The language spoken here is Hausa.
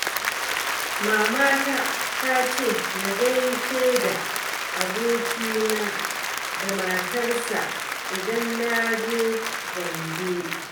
Mamata ta ce na gaishe da abokina da matarsa idan na je Gombe.